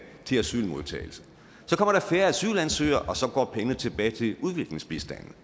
til asylmodtagelse så kommer der færre asylansøgere og så går pengene tilbage til udviklingsbistanden